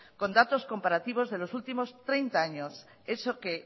con datos comparativos de los últimos treinta años eso que